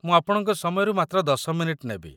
ମୁଁ ଆପଣଙ୍କ ସମୟରୁ ମାତ୍ର ୧୦ ମିନିଟ୍‌ ନେବି।